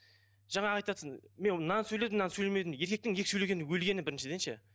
жаңағы айтыватсың мен мынаны сөйледім мынаны сөйлемедім еркектің екі сөйлегені өлгені біріншіден ше